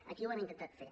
aquí ho hem intentat fer